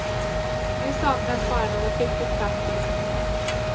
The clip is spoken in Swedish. Nu saknas bara något riktigt praktiskt.